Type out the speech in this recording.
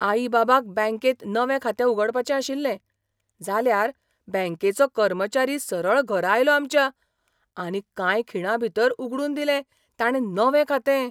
आई बाबाक बँकेंत नवें खातें उगडपाचें आशिल्लें. जाल्यार, बँकेचो कर्मचारी सरळ घरा आयलो आमच्या, आनी कांय खिणांभीतर उगडून दिलें ताणें नवें खातें!